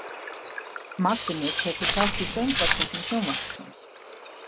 Magni tekur þátt í Söngvakeppni Sjónvarpsins